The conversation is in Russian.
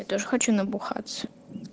я тоже хочу набухаться